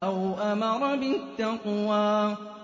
أَوْ أَمَرَ بِالتَّقْوَىٰ